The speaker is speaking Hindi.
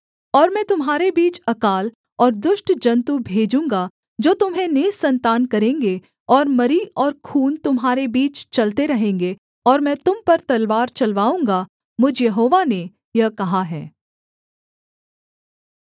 और मैं तुम्हारे बीच अकाल और दुष्ट जन्तु भेजूँगा जो तुम्हें निःसन्तान करेंगे और मरी और खून तुम्हारे बीच चलते रहेंगे और मैं तुम पर तलवार चलवाऊँगा मुझ यहोवा ने यह कहा है